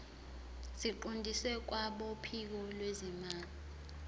siqondiswe kwabophiko lwezimali